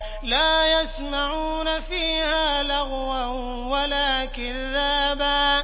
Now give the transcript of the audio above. لَّا يَسْمَعُونَ فِيهَا لَغْوًا وَلَا كِذَّابًا